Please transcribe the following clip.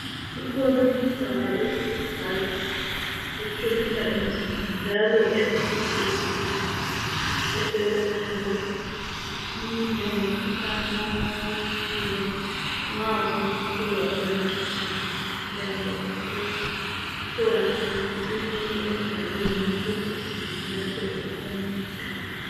Ikhona imidlalo esiyidlayo eqinisa umzimba njalo elusizo ezimpilweni zethu eselaphayo njengomkhuhlane wofuba nxa usizwa ufuba ungagijima uyezwa kusehla ngakho asiqineni emdlalweni ukuze selapheke lasemzimbeni